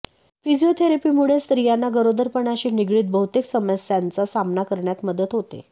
फिजिओथेरपीमुळे स्त्रियांना गरोदरपणाशी निगडित बहुतेक समस्यांचा सामना करण्यात मदत होते